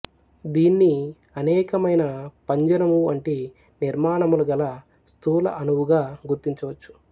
దీన్ని అనేక మైన పంజరము వంటి నిర్మానములు గల స్థూల అణువుగా గుర్తించవచ్చు